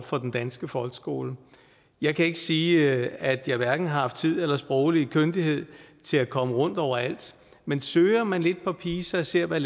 for den danske folkeskole jeg kan ikke sige at jeg hverken har haft tid eller sproglig kyndighed til at komme rundt overalt men søger man lidt på pisa og ser hvad